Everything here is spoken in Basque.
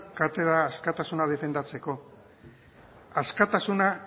katedra askatasuna defendatzeko askatasuna